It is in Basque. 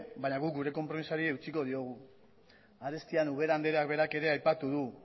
baina guk gure konpromezuari eutsiko diogu arestian ubera andreak berak ere aipatu du